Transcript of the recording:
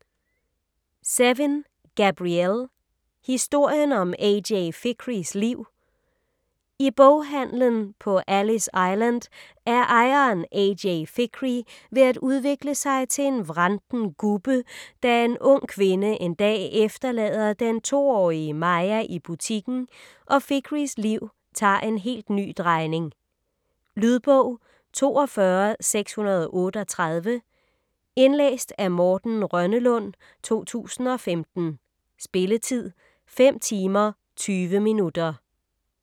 Zevin, Gabrielle: Historien om A.J. Fikrys liv I boghandelen på Alice Island er ejeren A.J. Fikry ved at udvikle sig til en vranten gubbe, da en ung kvinde en dag efterlader den to-årige Maya i butikken, og Fikrys liv tager en helt ny drejning. Lydbog 42638 Indlæst af Morten Rønnelund, 2015. Spilletid: 5 timer, 20 minutter.